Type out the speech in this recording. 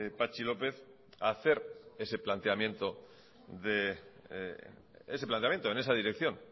patxi lópez a hacer ese planteamiento en esa dirección